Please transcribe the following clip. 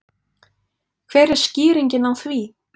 Hver er skýringin á því?